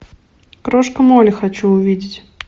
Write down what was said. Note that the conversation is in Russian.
крошка молли хочу увидеть